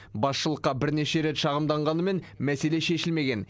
басшылыққа бірнеше рет шағымданғанымен мәселе шешілмеген